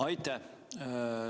Aitäh!